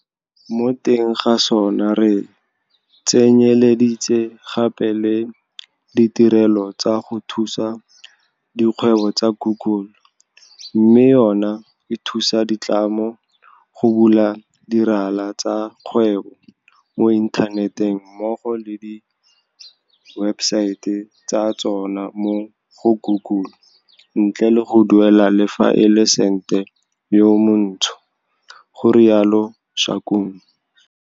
Mo teng ga sona re tsenyeleditse gape le ditirelo tsa go thusa dikgwebo tsa Google, mme yona e thusa ditlamo go bula dirala tsa kgwebo mo inthaneteng mmogo le diwebesaete tsa tsona mo go Google ntle le go duelela le fa e le sente yo montsho, ga rialo Shakung.